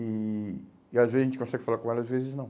E e às vezes a gente consegue falar com ela, às vezes não.